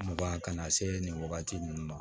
Mugan ka na se nin wagati nunnu ma